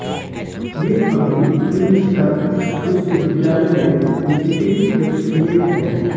वे अभी प्रिंसटन विश्वविद्यालय में विजिटिंग एसोसिएट हैं